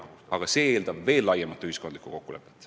Aga see eeldab veel laiemat ühiskondlikku kokkulepet.